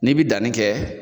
N'i bɛ danni kɛ